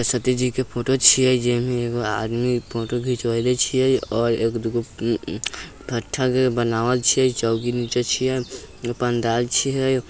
सरस्वती जी की फोटो छे जेमे एगो आदमी फोटो खिचवाइले छे और एगो दुगु आदमी